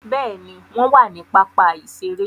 Béèni, wọn wà ni pápá iṣere